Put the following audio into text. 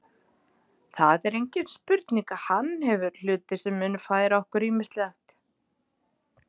Það er engin spurning að hann hefur hluti sem munu færa okkur ýmislegt.